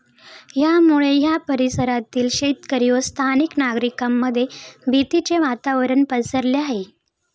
यामुळे या परिसरातील शेतकरी व स्थानिक नागरिकांमध्ये भीतीचे वातावरण पसरले आहे.